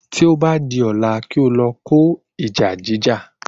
Tí o bá di ọ̀la, kí o lọ kó ìjà jíjà